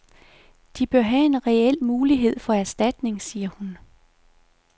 De bør have en reel mulighed for erstatning, siger hun.